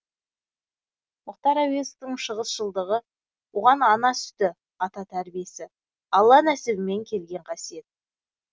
мұхтар әуезовтің шығысшылдығы оған ана сүті ата тәрбиесі алла нәсібімен келген қасиет